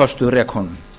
kastað rekunum